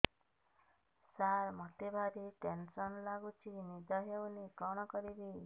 ସାର ମତେ ଭାରି ଟେନ୍ସନ୍ ଲାଗୁଚି ନିଦ ହଉନି କଣ କରିବି